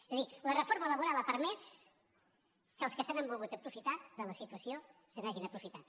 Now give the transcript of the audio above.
és a dir la reforma laboral ha permès que els que se n’han volgut aprofitar de la situació se n’hagin aprofitat